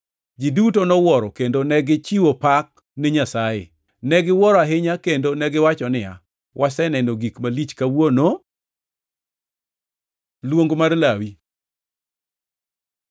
Ji duto nowuoro kendo negichiwo pak ni Nyasaye. Negiwuoro ahinya kendo negiwacho niya, “Waseneno gik malich kawuono.” Luong mar Lawi